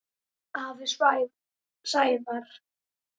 Afi Sævar.